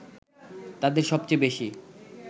তাদের সবচেয়ে বেশি